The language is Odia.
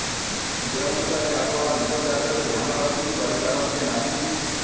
ଯେଉଁଥିପାଇଁ ଆପଣ ନିଜ କାର୍ଯ୍ୟରେ ଧ୍ୟାନ ରଖି କରି ପାରନ୍ତି ନାହିଁ